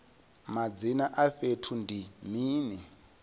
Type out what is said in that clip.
madzina a fhethu ndi mini